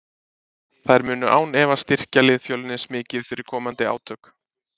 Þær munu án efa styrkja lið Fjölnis mikið fyrir komandi átök.